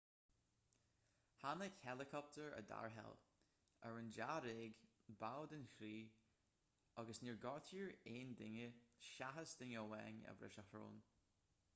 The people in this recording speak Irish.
tháinig héileacaptair i dtarrtháil ar an dáréag baill den chriú agus níor gortaíodh aon duine seachas duine amháin a bhris a shrón